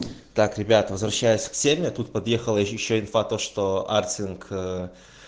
так ребят возвращаясь к теме тут подъехала ещё инфа то что арктинг